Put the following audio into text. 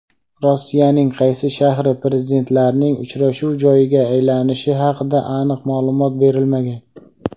Rossiyaning qaysi shahri Prezidentlarning uchrashuv joyiga aylanishi haqida aniq ma’lumot berilmagan.